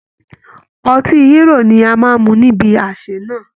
Ọtí Hírò ni a máa mu níbi àsè náà